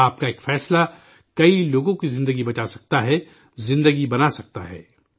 آپ کا ایک فیصلہ، کئی لوگوں کی زندگی بچا سکتا ہے، زندگی بنا سکتا ہے